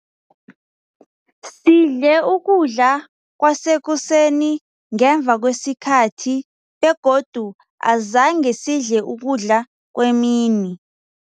Sidle ukudla kwasekuseni ngemva kwesikhathi begodu azange sidle ukudla kwemini.